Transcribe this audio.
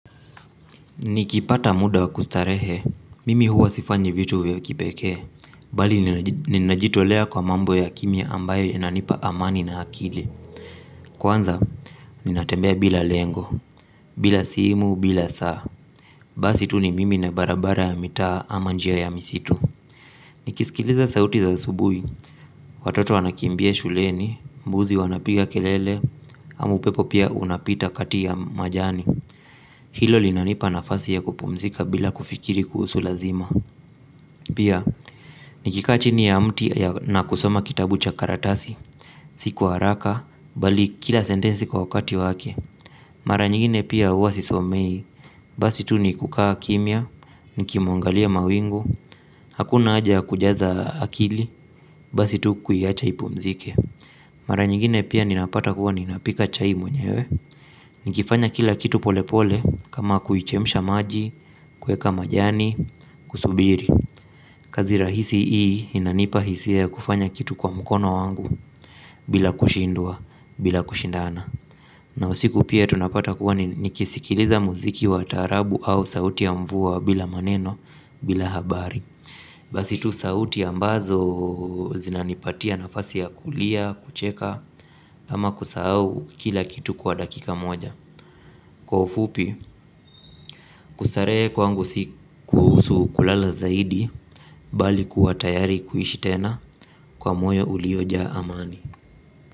Nikipata muda wa kustarehe, mimi huwa sifanyi vitu vya kipekee. Bali ninajitolea kwa mambo ya kimya ambayo yananipa amani na akili. Kwanza, ninatembea bila lengo, bila simu, bila saa. Basi tu ni mimi na barabara ya mitaa ama njia ya misitu. Nikisikiliza sauti za subuhi watoto wanakimbia shuleni, mbuzi wanapiga kelele, ama upepo pia unapita kati ya majani. Hilo linanipa nafasi ya kupumzika bila kufikiri kuhusu lazima. Pia, nikika chini ya mti na kusoma kitabu cha karatasi. Si kwa haraka, bali kila sentensi kwa wakati wake. Mara nyigine pia huwa sisomei. Basi tu ni kukaa kimya, niki mungalia mawingu. Hakuna haja kujaza akili, basi tu kuiacha ipumzike. Mara nyigine pia ninapata huwa ninapika chai mwenyewe. Nikifanya kila kitu pole pole, kama kuichemsha maji. Kueka majani Kusubiri. Kazi rahisi hii inanipa hisia ya kufanya kitu kwa mkono wangu. Bila kushindwa bila kushindana na usiku pia tunapata kuwa nikisikiliza mziki wa taarabu au sauti ya mvua bila maneno bila habari basi tu sauti ambazo zinanipatia nafasi ya kulia, kucheka. Ama kusahau kila kitu kwa dakika moja. Kwa ufupi. Kustaree kwangu si kuhusu kulala zaidi bali kuwa tayari kuishi tena kwa moyo uliojaa amani.